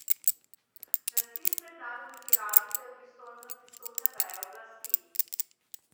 Razpis mednarodne tiralice je v pristojnosti sodne veje oblasti.